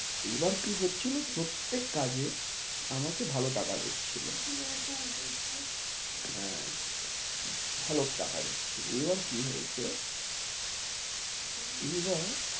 এবার কি হচ্ছিলো প্রত্যেক কাজে আমাকে ভালো টাকা দিচ্ছিলো হ্যাঁ ভালো টাকা দিচ্ছিলো, এবার কি হয়েছে এবার